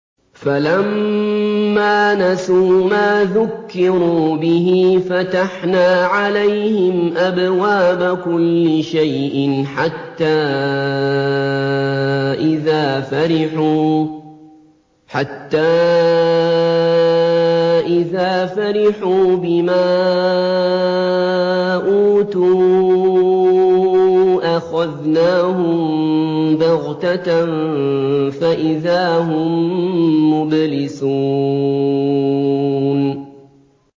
فَلَمَّا نَسُوا مَا ذُكِّرُوا بِهِ فَتَحْنَا عَلَيْهِمْ أَبْوَابَ كُلِّ شَيْءٍ حَتَّىٰ إِذَا فَرِحُوا بِمَا أُوتُوا أَخَذْنَاهُم بَغْتَةً فَإِذَا هُم مُّبْلِسُونَ